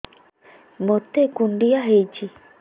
ମୋତେ କୁଣ୍ଡିଆ ହେଇଚି